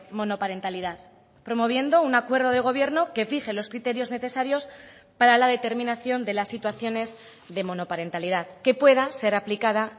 monoparentalidad promoviendo un acuerdo de gobierno que fije los criterios necesarios para la determinación de las situaciones de monoparentalidad que pueda ser aplicada